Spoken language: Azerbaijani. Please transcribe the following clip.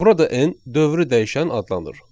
Burada n dövrü dəyişən adlanır.